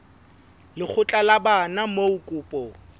lekgotla la bana moo kopo